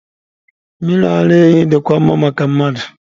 Mmiri ara ehi dịkwa mma maka mmadụ.